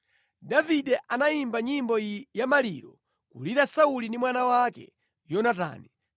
Davide anayimba nyimbo iyi ya maliro, kulira Sauli ndi mwana wake Yonatani.